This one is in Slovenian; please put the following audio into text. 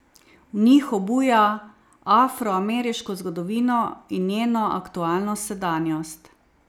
V njih obuja afroameriško zgodovino in njeno aktualno sedanjost.